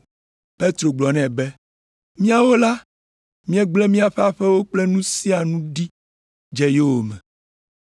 Petro gblɔ nɛ be, “Míawo la, míegblẽ míaƒe aƒewo kple nu sia nu ɖi dze yowòme.”